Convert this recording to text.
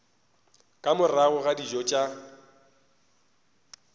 ka morago ga dijo tša